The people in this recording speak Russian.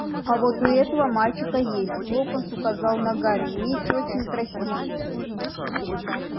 а вот у этого мальчика есть локонс указал на гарри меч очень красивый